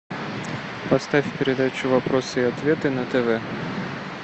поставь передачу вопросы и ответы на тв